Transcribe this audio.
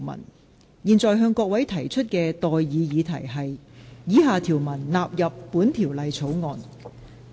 我現在向各位提出的待議議題是：以下條文納入本條例草案。